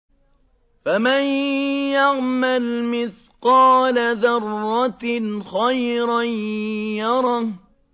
فَمَن يَعْمَلْ مِثْقَالَ ذَرَّةٍ خَيْرًا يَرَهُ